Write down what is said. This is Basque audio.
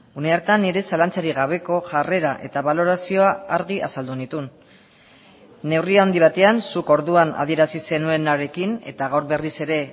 une hartan nire zalantzarik gabeko jarrera eta balorazioa argi azaldu nituen neurri handi batean zuk orduan adierazi zenuenarekin eta gaur berriz ere